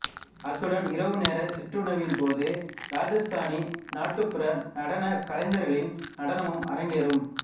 அத்துடன் இரவு நேர சிற்றுணவின்போது ராஜஸ்தானி நாட்டுப்புற நடனக் கலைஞர்களின் நடனமும் அரங்கேறும்